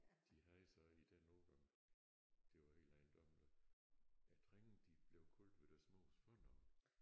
De havde så i den årgang det var helt ejendommeligt æ drenge de blev kaldt ved deres mors fornavn